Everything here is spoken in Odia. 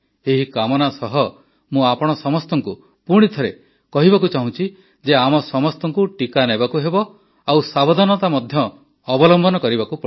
ଏହି କାମନା ସହ ମୁଁ ଆପଣ ସମସ୍ତଙ୍କୁ ପୁଣିଥରେ କହିବାକୁ ଚାହୁଁଛି ଯେ ଆମ ସମସ୍ତଙ୍କୁ ଟିକା ନେବାକୁ ହେବ ଆଉ ସାବଧାନତା ମଧ୍ୟ ଅବଲମ୍ବନ କରିବାକୁ ପଡ଼ିବ